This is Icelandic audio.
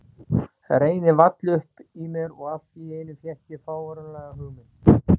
Reiðin vall upp í mér og allt í einu fékk ég fáránlega hugmynd.